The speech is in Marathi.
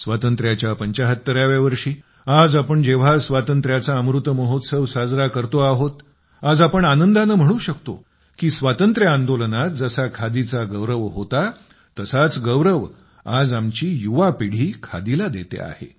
स्वातंत्र्याच्या 75व्या वर्षी आज आपण जेव्हा स्वातंत्र्याचा अमृतमहोत्सव साजरा करतो आहोत आज आपण आनंदाने म्हणू शकतो की स्वातंत्र्य आंदोलनात जसा खादीचा गौरव होता तसाच गौरव आज आमची युवा पिढी खादीला देते आहे